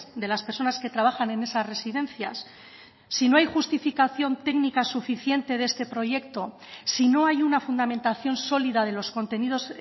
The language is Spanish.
de las personas que trabajan en esas residencias si no hay justificación técnica suficiente de este proyecto si no hay una fundamentación sólida de los contenidos